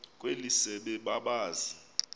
kweli sebe babazi